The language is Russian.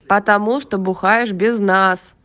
потому что бухаешь без нас